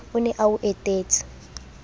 o ne a o etetse